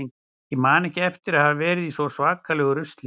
Ég man ekki eftir að hafa verið í svona svakalegu rusli.